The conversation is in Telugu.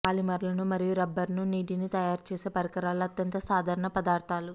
పాలిమర్లను మరియు రబ్బరును నీటిని తయారుచేసే పరికరాలు అత్యంత సాధారణ పదార్థాలు